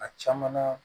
A caman na